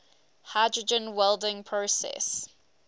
hydrogen welding process